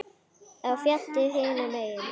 Á fjallið hinum megin.